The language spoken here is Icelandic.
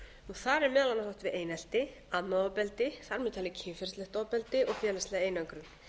þar er meðal annars átt við einelti annað ofbeldi þar með talið kynferðislegt ofbeldi og félagslega einangrun